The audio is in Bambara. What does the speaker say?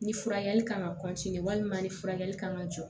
Ni furakɛli kan ka walima ni furakɛli kan ka jɔ